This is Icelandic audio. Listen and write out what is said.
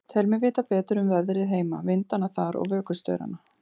Tel mig vita betur um veðrið heima, vindana þar og vökustaurana.